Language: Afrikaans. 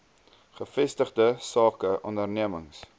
gevestigde sake ondernemings